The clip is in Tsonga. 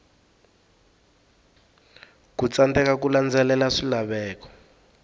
ku tsandzeka ku landzelela swilaveko